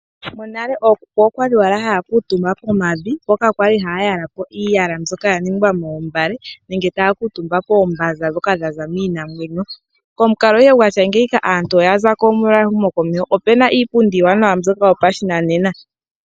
Monale ookuku okwali haya kuutumba pomavi, mpoka pwali hapu yalwa iiyala mbyoka ya ningwa moombale, nenge taya kuutumba koombanza dhoka dhaza kiinamwenyo. Omukalo nguka gwonale aantu oya zapo, ohaya longitha iipundi mbyoka yopashinanena.